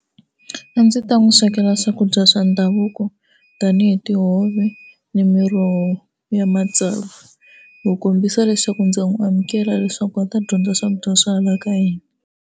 A ndzi ta n'wi swekela swakudya swa ndhavuko tanihi tihove ni miroho ya matsavu ku kombisa leswaku ndza n'wi amukela leswaku va ta dyondza swakudya swa hala ka hina.